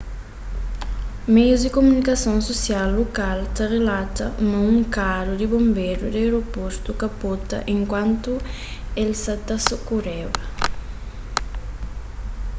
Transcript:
meius di kumunikason susial lokal ta rilata ma un karu di bonberu di aeroportu kapota enkuantu el sa ta sokoreba